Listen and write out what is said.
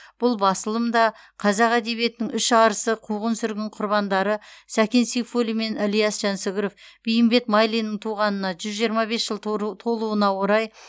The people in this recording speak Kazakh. бұл басылым да қазақ әдебиетінің үш арысы қуғын сүргін құрбандары сәкен сейфуллин мен ілияс жансүгіров бейімбет майлиннің туғанына жүз жиырма бес жыл тору толуына орай